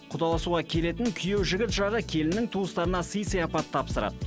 құдаласуға келетін күйеу жігіт жағы келіннің туыстарына сый сияпат тапсырады